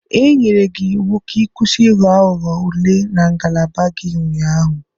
E nyere gị iwu ka ị kwụsị Ị ghọ aghụghọ ule na ngalaba gị ụnyaahụ!